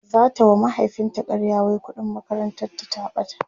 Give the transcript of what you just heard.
zata wa mahaifin ta ƙarya wai ƙuɗin makarantar ta ta ɓata